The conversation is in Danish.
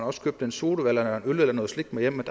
også købte en sodavand eller øl eller noget slik med hjem